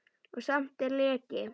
Og samt er leki.